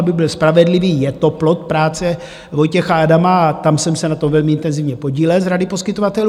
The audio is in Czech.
Abych byl spravedlivý, je to plod práce Vojtěcha Adama a tam jsem se na tom velmi intenzivně podílel z rady poskytovatelů.